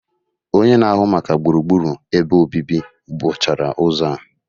Onye na-ahụ maka gburugburu ebe obibi buchara ụzọ a